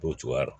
O cogoya la